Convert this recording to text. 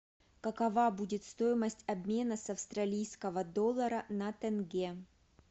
какова будет стоимость обмена с австралийского доллара на тенге